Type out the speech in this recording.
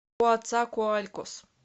коацакоалькос